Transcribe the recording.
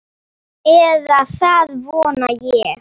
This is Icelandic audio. Eða það vona ég,